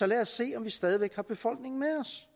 lad os se om vi stadig væk har befolkningen med os